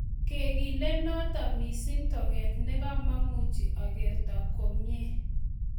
"Kikekooteno missing toket ne kimamuchi akerto komye